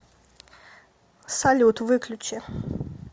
салют выключи